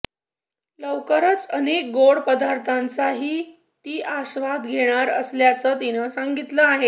लवकरच अनेक गोड पदार्थांचाही ती आस्वाद घेणार असल्याचं तिनं सांगितलं आहे